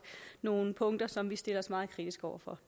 nogle punkter som vi stiller os meget kritiske over for